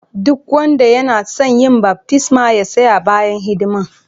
Duk wanda yana tson yin baftisma ya tsaya bayan hidiman.